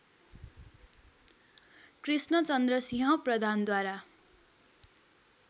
कृष्णचन्द्र सिंह प्रधानद्वारा